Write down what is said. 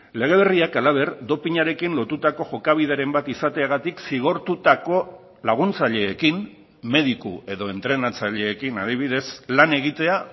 lege berriak halaber dopinarekin lotutako jokabideren bat izateagatik zigortutako laguntzaileekin mediku edo entrenatzaileekin adibidez lan egitea